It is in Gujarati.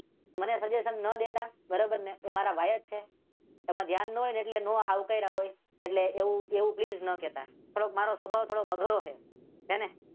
મને સજેશન ના ડેટા બરોબર ને? એ મારા ભાઈ જ છે આમાં ધ્યાન ના હોય ને એટલે ના અવકાર્યા હોય. એટલે એવું એવું પ્લીઝ ના કહેતા થોડુક મારો સ્વભાવ થોડો અઘરો છે. હે ને